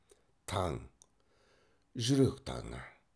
таң жүрек таңы